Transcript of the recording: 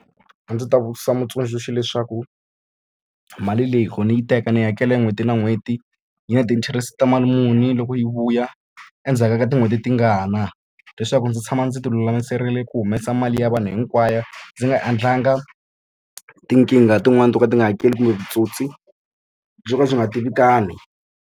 A ndzi ta vutisa mutsundzuxi leswaku mali leyi loko ni yi teka ndzi yi hakela n'hweti na n'hweti? Yi na ti-interest ta mali muni loko yi vuya? Endzhaku ka tin'hweti tingani. Leswaku ndzi tshama ndzi ti lulamiserile ku humesa mali ya vanhu hinkwayo, ndzi nga endlanga tinkingha tin'wani to ka ti nga hakeli kumbe vutsotsi byo ka byi nga tivikani.